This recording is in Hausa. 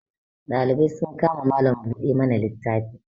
dalibai sun kama Malam buɗe mana littafi